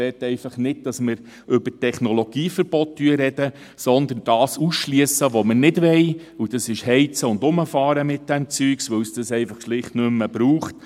Ich bitte darum, nicht über Technologieverbote zu sprechen, sondern das auszuschliessen, was wir nicht wollen, nämlich mit diesem Zeugs zu heizen und herumzufahren, weil es dieses schlicht nicht mehr braucht.